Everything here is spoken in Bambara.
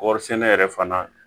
Kɔɔri sɛnɛ yɛrɛ fana